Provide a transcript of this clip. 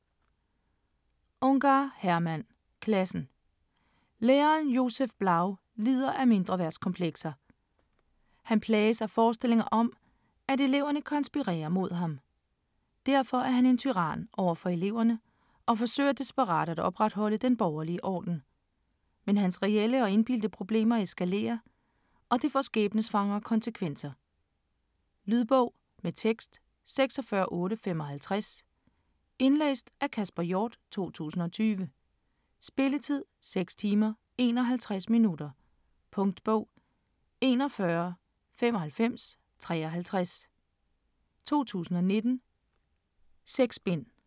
Ungar, Hermann: Klassen Læreren Josef Blau lider af mindreværdskomplekser. Han plages af forestillinger om, at eleverne konspirerer mod ham. Derfor er han en tyran over for eleverne og forsøger desperat at opretholde den borgerlige orden. Men hans reelle og indbildte problemer eskalerer, og det får skæbnesvangre konsekvenser. Lydbog med tekst 46855 Indlæst af Kasper Hjort, 2020. Spilletid: 6 timer, 51 minutter. Punktbog 419553 2019. 6 bind.